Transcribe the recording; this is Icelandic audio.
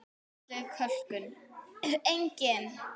Andleg kölkun: engin.